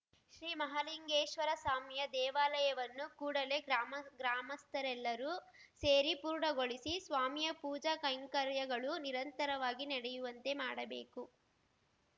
ಶ್ರೀ ಮಹಾಲಿಂಗೇಶ್ವರಸ್ವಾಮಿಯ ದೇವಾಲಯವನ್ನು ಕೂಡಲೇ ಗ್ರಾಮ ಗ್ರಾಮಸ್ಥರೆಲ್ಲರೂ ಸೇರಿ ಪೂರ್ಣಗೊಳಿಸಿ ಸ್ವಾಮಿಯ ಪೂಜಾ ಕೈಂಕರ್ಯಗಳು ನಿರಂತರವಾಗಿ ನಡೆಯುವಂತೆ ಮಾಡಬೇಕು